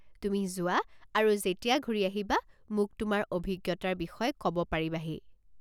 তুমি যোৱা আৰু যেতিয়া ঘূৰি আহিবা মোক তোমাৰ অভিজ্ঞতাৰ বিষয়ে ক'ব পাৰিবাহি।